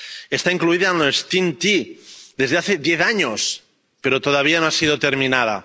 Está incluida en la RTE T, desde hace diez años, pero todavía no ha sido terminada.